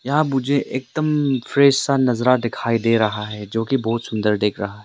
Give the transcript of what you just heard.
या मुझे एकदम फ्रेश सा नजरा दिखाई दे रहा है जो की बहुत सुंदर दिख रहा।